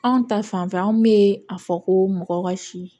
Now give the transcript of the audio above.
Anw ta fanfɛ anw be a fɔ ko mɔgɔ ka si